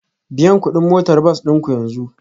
Biyan kuɗin motar bas ɗin ku yanzu